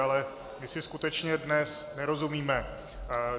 Ale my si skutečně dnes nerozumíme.